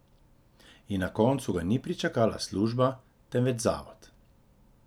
In na koncu ga ni pričakala služba, temveč zavod.